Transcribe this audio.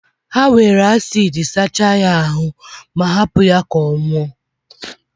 ha were acidi sachaa ya aru ma, hapụ ya ka ọ nwụọ.